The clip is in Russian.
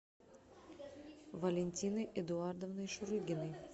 валентиной эдуардовной шурыгиной